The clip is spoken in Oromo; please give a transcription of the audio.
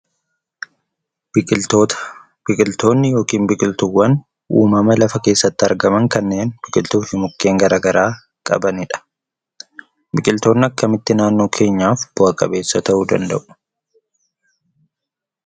Biqiltootaa. Biqiltoonni yookiin biqiltuwwan uumamaa lafa keessatti argamaan kanneen biqiltuufi mukkeen garagaraa qabanidha. Biqiltooni akkamitti naannoo keenyaaf bu'a qabeessa ta'u danda'u.